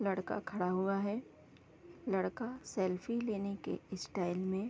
लड़का खड़ा हुआ है लड़का सेल्फी लेने के स्टाइल में --